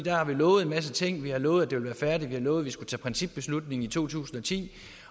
har vi lovet en masse ting vi har lovet at det ville være færdigt vi har lovet at skulle tage principbeslutning i to tusind og ti